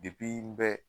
n bɛ